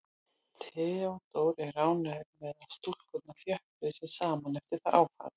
Theodór er ánægður með að stúlkurnar þjöppuðu sig saman eftir það áfall.